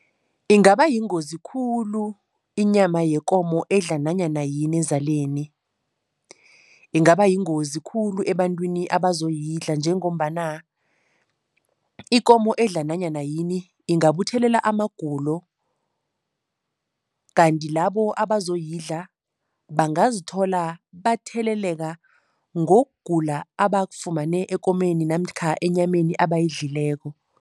Ingaba yingozi khulu inyama yekomo edla nanyana yini ezaleni. Ingaba yingozi khulu ebantwini abazoyidla njengombana ikomo edla nanyana yini ingabuthelela amagulo kanti labo abazoyidla, bangazithola batheleleka ngokugula abakufumane ekomeni namkha enyameni abayidlileko.